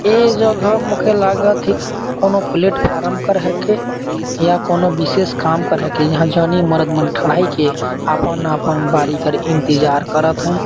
ये जगह मोके लागत हे कि कोनो प्लॅटफॉरम पर है कि कोनो विशेष काम पर है की यहाँ जानि मरद मन ढलाई किये अपन -अपन बारी कर इंतज़ार करत हैं।